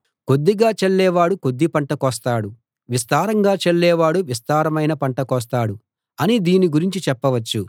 కొద్దిగా చల్లేవాడు కొద్ది పంట కోస్తాడు విస్తారంగా చల్లేవాడు విస్తారమైన పంట కోస్తాడు అని దీని గురించి చెప్పవచ్చు